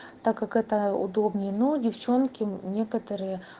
так как это удобнее но девчонки некоторые